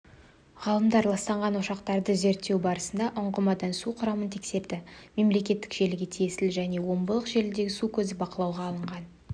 ғалымдар ластанған ошақтарды зерттеу барысында ұңғымадағы су құрамын тексереді мемлекеттік желіге тиесілі және омбылық желідегі су көзі бақылауға алынған